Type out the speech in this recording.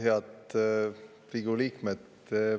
Head Riigikogu liikmed!